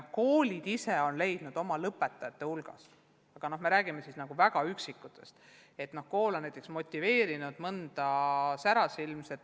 Koolid ise on leidnud oma lõpetajate hulgast neid üksikuid särasilmseid noori inimesi, keda kool on motiveerinud õpetajaks saama.